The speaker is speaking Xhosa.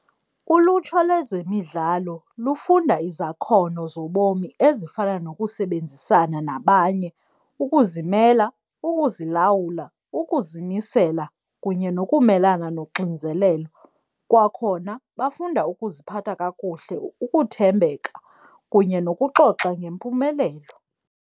Ulutsha lwezemidlalo lufunda izakhono zobomi ezifana nokusebenzisana nabanye, ukuzimela, ukuzilawula, ukuzimisela kunye nokumelana noxinzelelo. Kwakhona bafunda ukuziphatha kakuhle, ukuthembeka kunye nokuxoxa ngempumelelo.